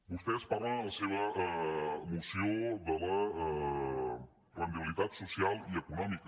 vostès parlen en la seva moció de la rendibilitat social i econòmica